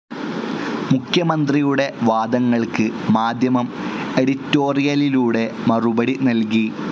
മുഖ്യമന്ത്രിയുടെ വാദങ്ങൾക്ക് മാധ്യമം എഡിറ്റോറിയലിലൂടെ മറുപടി നൽകി.